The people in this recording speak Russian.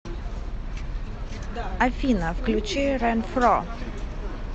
афина включи ренфро